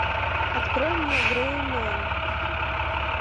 открой мне грэй мен